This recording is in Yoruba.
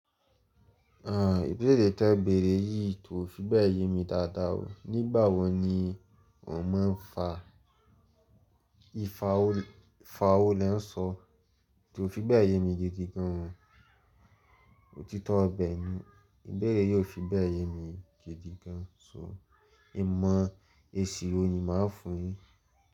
Ibéèrè tí e bẹ̀erẹ̀ yìí kò fi bẹ́ẹ̀ yẹ mi dáadáa o. Nígbà wọ ni ọ́ máa ń fa Ifa wò le ń sọ? Kò fi bẹ́ẹ̀ yẹ mi gidi gan. Òtítọ́ ibẹ̀ ni, ìbẹ̀erẹ̀ yìí ò fi bẹ́ẹ̀ yẹ mi gidi gan. So, ìmọ̀ èsì wo ni màá fún yi?